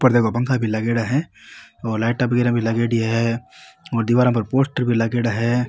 ऊपर देखो पंखा भी लागेड़ा है और लाइटा वगेरा भी लागेड़ी है और दीवारा पर पोस्टर भी लागेड़ा है।